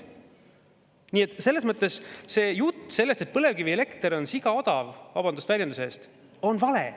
Nii et selles mõttes see jutt, et põlevkivielekter on sigaodav – vabandust väljenduse eest –, on vale.